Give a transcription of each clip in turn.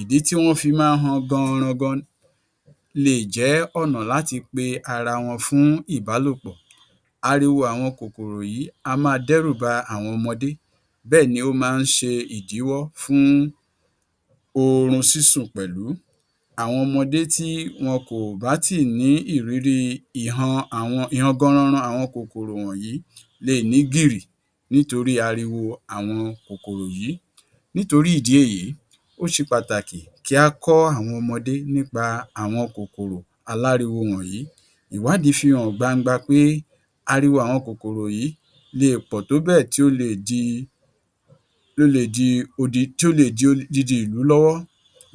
Ìdí tí wọ́n fi máa ń han gan-an-ran-gan lè jẹ́ ọ̀nà láti pe ara wọn fún ìbálòpọ̀. Ariwo àwọn kòkòrò yìí á máa dẹ́rù ba àwọn ọmọdé bẹ́ẹ̀ ni ó máa ń ṣe ìdíwọ́ fún oorun sísùn pẹ̀lú. Àwọn ọmọdé tí wọn kò bá tíì ní ìrírí ìhan àwọn ìhan gan-an-ran-ran àwọn kòkòrò wọ̀nyí leè ní gìrì nítorí ariwo àwọn kòkòrò yìí. Nítorí ìdí èyí ó ṣe pàtàkì kí á kọ́ àwọn ọmọdé nípa àwọn kòkòrò aláriwo wọ̀nyí. Ìwádìí fi hàn gbangba pé ariwo àwọn kòkòrò yìí leè pọ̀ tó bẹ̀ tí ó leè di, ó leè di um tí ó leè di odidi ìlú lọ́wọ́.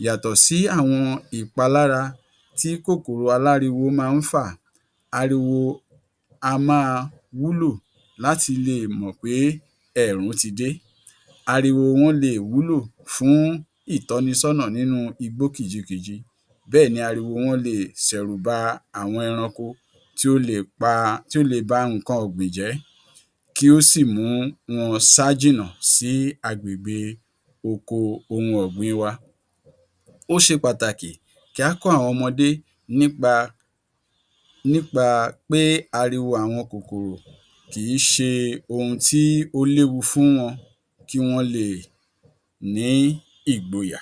Yàtọ̀ sí àwọn ìpalára tí kòkòrò aláriwo máa ń fà, ariwo á máa wúlò láti leè mọ̀ pé ẹẹ̀rùn ti dé. Ariwo wọn lè wúlò fún ìtọnisọ́nà nínú igbó kìjikìji bẹ́ẹ̀ ni ariwo wọn leè ṣẹ̀rùbà àwọn ẹranko tí ó lè pa tí ó lè ba nǹkan ọ̀gbìn jẹ́ kí ó sì mú wọn sá jìnà sí agbègbè oko ohun ọ̀gbìn wa. Ó ṣe pàtàkì kí á kọ́ àwọn ọmọdé nípa nípa pé ariwo àwọn kòkòrò kìí ṣe ohun tí ó léwu fún wọn, kí wọ́n leè ní ìgboyà.